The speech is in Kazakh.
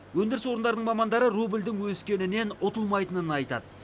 өндіріс орындарының мамандары рубльдің өскенінен ұтылмайтынын айтады